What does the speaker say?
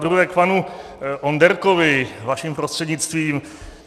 Zadruhé k panu Onderkovi, vaším prostřednictvím.